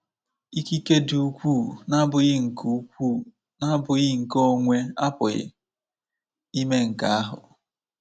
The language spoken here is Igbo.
Ikike dị ukwuu na-abụghị nke ukwuu na-abụghị nke onwe apụghị ime nke ahụ.